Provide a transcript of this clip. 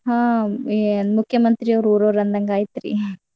ಹಾ ಏನ್ ಮುಖ್ಯಮಂತ್ರಿ ಅವ್ರ್ ಊರವ್ರ್ ಅಂದಂಗಯ್ತ್ರೀ.